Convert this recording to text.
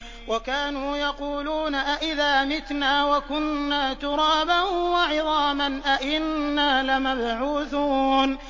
وَكَانُوا يَقُولُونَ أَئِذَا مِتْنَا وَكُنَّا تُرَابًا وَعِظَامًا أَإِنَّا لَمَبْعُوثُونَ